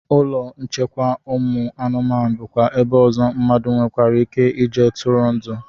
Ụlọ nchekwa ụmụ anụmanụ bụkwa ebe ọzọ mmadụ nwereike ije tụrụ ndụ